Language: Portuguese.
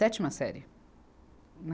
Sétima série.